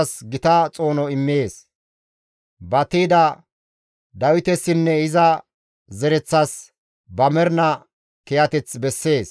Izi kawozas gita xoono immees; ba tiyda Dawitesinne iza zereththas, ba mernaa kiyateth bessees.»